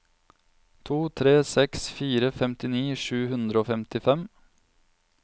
to tre seks fire femtini sju hundre og femtifem